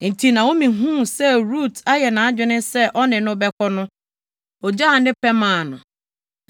Enti Naomi huu sɛ Rut ayɛ nʼadwene sɛ ɔne no bɛkɔ no, ogyaa ne pɛ maa no.